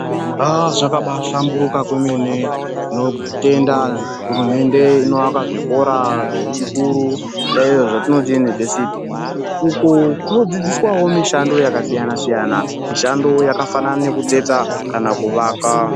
Zvakaba hlamburuka kwemene tinotenda hurumende inovaka zvikora zvechikuru izvo zvatinoti yunivhesiti. Uku kunodzidziswawo mushando yakasiyana siyana mishando yakafanana nekutsetsa kana kuvaka.